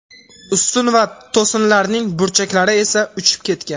Ustun va to‘sinlarning burchaklari esa uchib ketgan.